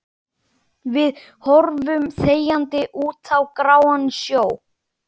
Við horfum þegjandi út á gráan sjó.